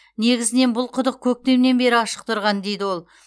негізінен бұл құдық көктемнен бері ашық тұрған дейді ол